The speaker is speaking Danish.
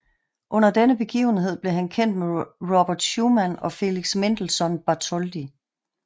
Under denne begivenhed blev han kendt med Robert Schumann og Felix Mendelssohn Bartholdy